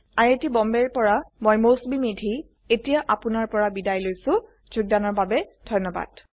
I I T Bombay ৰ পৰা মই মৌচুমী মেধী এতিয়া আপুনাৰ পৰা বিদায় লৈছো যোগদানৰ বাবে ধন্যবাদ